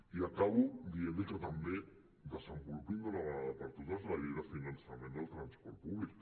i acabo dient li que també desenvolupin d’una vegada per totes la llei de finançament del transport públic